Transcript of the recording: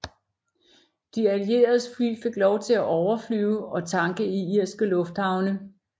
De Allieredes fly fik lov til at overflyve og tanke i irske lufthavne